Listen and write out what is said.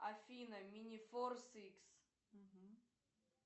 афина минифорс икс